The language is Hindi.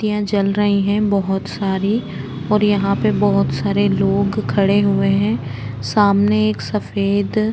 तियाँ जल रही हैं बहोत सारी और यहाँ पे बोहोत सारे लोग खड़े हुए हैं सामने एक सफ़ेद --